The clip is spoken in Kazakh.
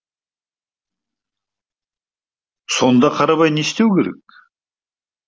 сонда қарабай не істеуі керек